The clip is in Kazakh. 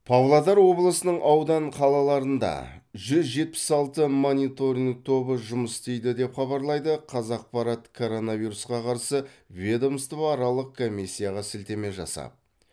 павлодар облысының аудан қалаларында жүз жетпіс алты мониторинг тобы жұмыс істейді деп хабарлайды қазақпарат коронавирусқа қарсы ведомствоаралық комиссияға сілтеме жасап